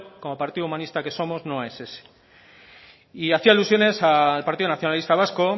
como partido humanista que somos no es ese y hacía alusiones al partido nacionalista vasco